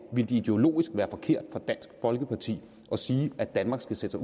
ville det ideologisk være forkert af dansk folkeparti at sige at danmark skal sætte